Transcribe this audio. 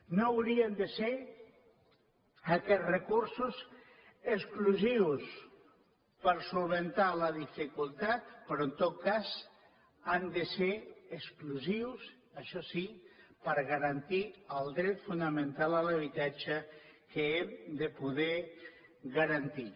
no haurien de ser aquests recursos exclusius per resoldre la dificultat però en tot cas han de ser exclusius això sí per garantir el dret fonamental a l’habitatge que hem de poder garantir